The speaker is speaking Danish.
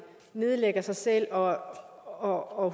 nedlægger sig selv og